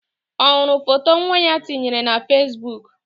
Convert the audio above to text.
Ọ hụrụ foto nwa ya tinyere na Fesbuk?